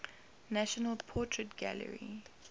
national portrait gallery